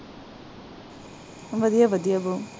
ਵਧੀਆ ਵਧੀਆ